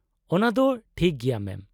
-ᱚᱱᱟᱫᱚ ᱫᱚ ᱴᱷᱤᱠ ᱜᱮᱭᱟ ᱢᱮᱢ ᱾